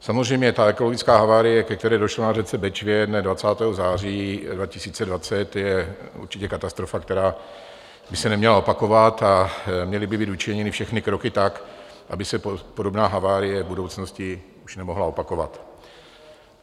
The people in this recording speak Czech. Samozřejmě ta ekologická havárie, ke které došlo na řece Bečvě dne 20. září 2020, je určitě katastrofa, která by se neměla opakovat, a měly by být učiněny všechny kroky tak, aby se podobná havárie v budoucnosti už nemohla opakovat.